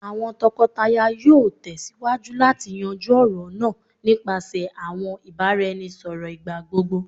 awọn tọkọtaya yoo tẹsiwaju lati yanju ọrọ naa nipasẹ awọn ibaraẹnisọrọ igbagbogbo